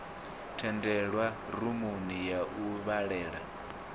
tendelwa rumuni ya u vhalela